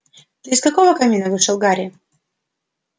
ты из какого камина вышел гарри